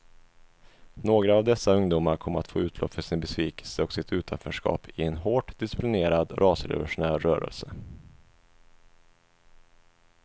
Några av dessa ungdomar kom att få utlopp för sin besvikelse och sitt utanförskap i en hårt disciplinerad rasrevolutionär rörelse.